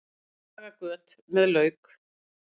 Laga göt með lauk